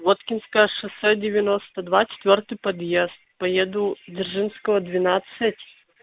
воткинское шоссе девяносто два четвёртый подъезд поеду дзержинского двенадцать